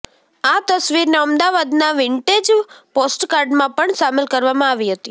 આ તસ્વીરને અમદાવાદના વિન્ટેજ પોસ્ટકાર્ડમાં પણ સામેલ કરવામાં આવી હતી